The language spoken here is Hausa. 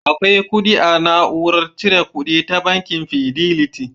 Akwai kudi a na'urar cire kuɗi ta bankin Fideliti